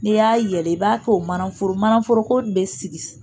N'i y'a yɛlɛ i b'a kɛ o manaforoko, manaforko in bɛ sigi sigi